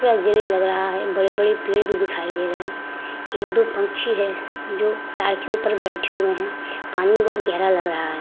पूरा ग्रे लग रहा है। बड़े-बड़े पेड़ भी दिखाई दे रहे है। एक-दो पंछी है जो ताड़ के ऊपर बैठे हुए है। पानी बहोत गेहरा लग रहा है।